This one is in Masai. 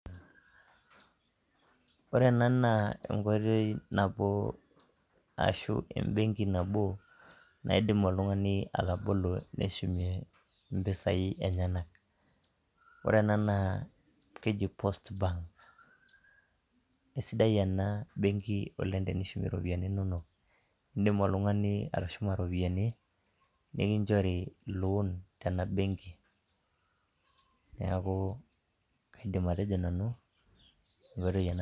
Ore ena naa enkoitoi nabo ashu embenki nabo naidimi oltungani atabolo neshumie impisai enyanak. Ore ena naa keji post bank kesidai oleng' ena benki tenishumie iropiyiani inono iidim oltungani atushuma iropiyiani nikinjori loon tena benki neeku kaidim atejo nanu.